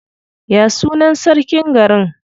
Ya sunan sarkin garin?